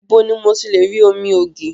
Ibo ni mo ti lè rí omi ògì?